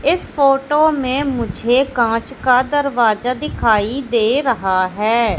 इस फोटो में मुझे कांच का दरवाजा दिखाई दे रहा है।